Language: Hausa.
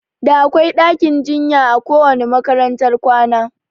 Da akwai ɗakin jinya a kowanne makarantar kwana